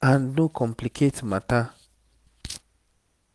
and no complicate matter